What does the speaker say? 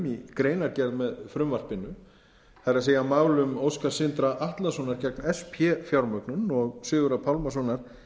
í greinargerð með frumvarpinu það er málum óskars sindra atlasonar gegn sp fjármögnun og sigurðar pálmasonar